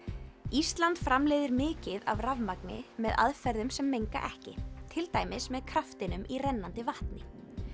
ísland framleiðir mikið af rafmagni með aðferðum sem menga ekki til dæmis með kraftinum í rennandi vatni